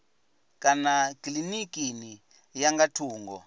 kana kilinikini ya nga thungo